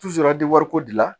ko dilan